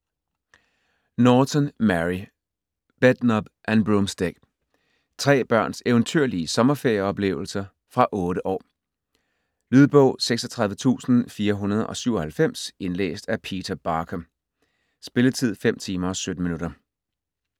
Norton, Mary: Bedknob and broomstick Tre børns eventyrlige sommerferieoplevelser. Fra 8 år. Lydbog 36497 Indlæst af Peter Barker. Spilletid: 5 timer, 17 minutter.